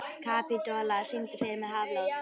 Kapitola, syngdu fyrir mig „Háflóð“.